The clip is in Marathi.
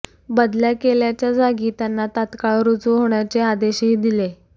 बदल्या केल्याच्या जागी त्यांना तात्काळ रुजू होण्याचे आदेशही दिले